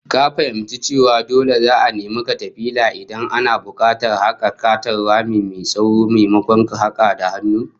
Ka fahimci cewa dole za'a nemi katafila Idan ana bukatar a haka katon rami mai tsawon, maimakon hakawa da hannu?